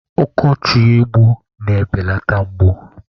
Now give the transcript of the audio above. Ọkọchị egbu na-ebeleta mgbu.